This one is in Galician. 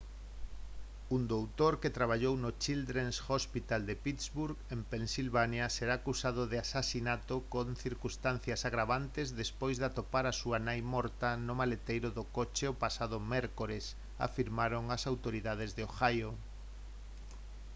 un doutor que traballou no children's hospital de pittsburgh pensilvania será acusado de asasinato con circunstancias agravantes despois de atopar á súa nai morta no maleteiro do coche o pasado mércores afirmaron as autoridades de ohio